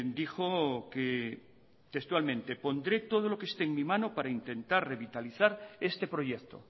dijo que textualmente pondré todo lo que esté en mi mano para intentar revitalizar este proyecto